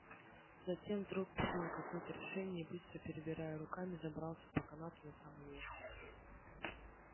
затем вдруг принял какое-то решение и быстро перебирая руками забрался по канату на самый верх